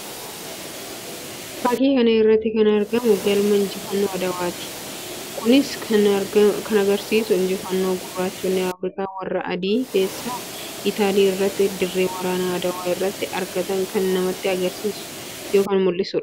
Fakkii kana irratti kan argamu galma injifannoo Aduwaa ti. Kunis kan agarsiisu injifannoo gurraachonni Afrikaa warra adii keessaa Itaalii irratti dirree waraanaa Aduwaa irratti argatan kan namatti agarsiisuu yookiin mul'isuu dha.